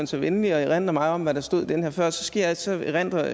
så venlig at erindre mig om hvad der stod i den her før og så skal jeg altså erindre